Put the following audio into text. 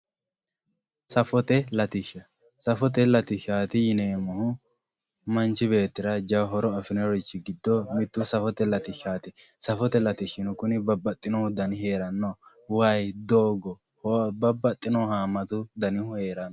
safote latishsha safote latishshaati yineemohu manchi beettira jawa horo afirinorichi giddo mittu safote latishshaati safote latishshino kuni babbaxino dani heeranno wayi, doogo babbaxino haamatu danihu heeranno.